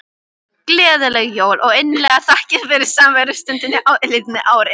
Gleðileg jól og innilegar þakkir fyrir samverustundir á liðnu ári.